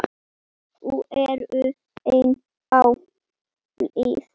Þau eru enn á lífi.